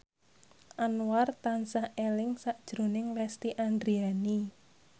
Anwar tansah eling sakjroning Lesti Andryani